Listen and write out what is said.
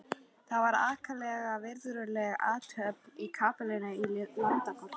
Það var ákaflega virðuleg athöfn í kapellunni í Landakoti.